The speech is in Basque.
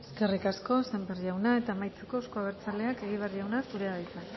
eskerrik asko sémper jauna eta amaitzeko euzko abertzaleak egibar jauna zure da hitza